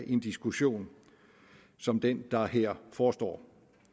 en diskussion som den der her forestår